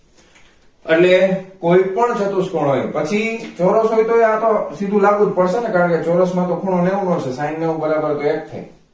એટલે કોઈ પણ ચતુષ્કોણ હોય પછી ચોરસ હોય તોય આ પાછું સીધું લાગુ જ પડશે ને કારણ કે ચોરસ માં તો ખૂણો નેવું નોજ છે sine નેવું બરોબર એક થાય